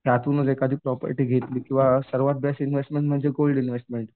त्यातूनच एखादी प्रॉपर्टी घेतली किंवा सर्वात बेस्ट इन्व्हेस्टमेंट म्हणजे गोल्ड इन्व्हेस्टमेंट.